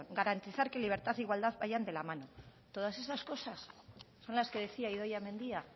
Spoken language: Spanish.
garantizar que libertad e igualdad vayan de la mano todas esas cosas son las que decía idoia mendia